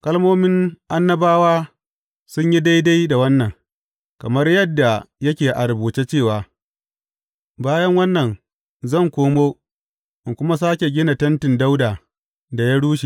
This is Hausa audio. Kalmomin annabawa sun yi daidai da wannan, kamar yadda yake a rubuce cewa, Bayan wannan zan koma in kuma sāke gina tentin Dawuda da ya rushe.